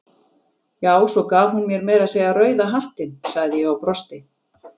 Já, svo gaf hún mér meira að segja rauða hattinn, sagði ég og brosti.